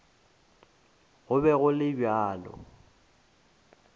go be go le bjalo